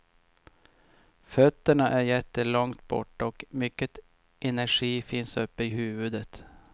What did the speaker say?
Fötterna är jättelångt borta och mycket energi finns uppe i huvudet.